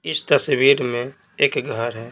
इस तस्वीर में एक घर है।